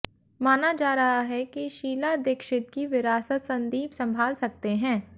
माना जा रहा है कि शीला दीक्षित की विरासत संदीप संभाल सकते हैं